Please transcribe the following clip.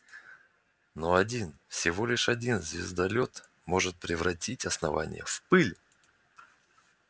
но один всего лишь один звездолёт может превратить основание в пыль